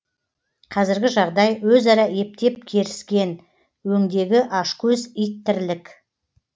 қазіргі жағдай өзара ептеп керіскен өңдегі ашкөз ит тірлік